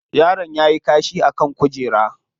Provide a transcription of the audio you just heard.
Yaron yayi kashi a kan kujera.